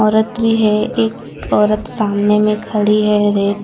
औरत भी है एक औरत सामने में खड़ी है रैक --